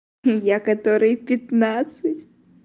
и я которой пятнадцать